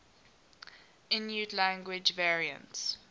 inuit language variants